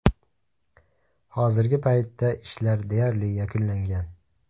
Hozirgi paytda ishlar deyarli yakunlangan.